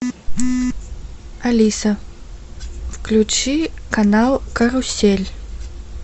алиса включи канал карусель